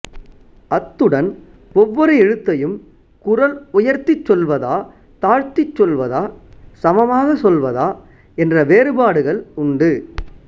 அத்துடன் ஒவ்வொரு எழுத்தையும் குரல் உயர்த்திச் சொல்வதா தாழ்த்திச் சொல்வதா சமமாகச் சொல்வதா என்ற வேறுபாடுகள் உண்டு